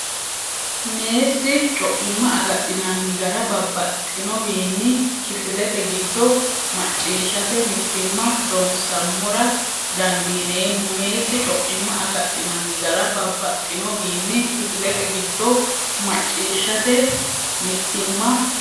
Meessi co imma agadhinanni gara babbaxxinowiinni kifilete giddo macciishshate mitiimma ronsammora dandiineemmo Meessi co imma agadhinanni gara babbaxxinowiinni kifilete giddo macciishshate mitiimma.